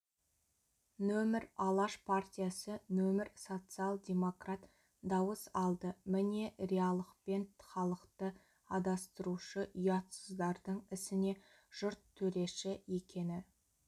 нөмір алаш партиясы нөмір социал-демократ дауыс алды міне риалықпен халықты адастырушы ұятсыздардың ісіне жұрт төреші екені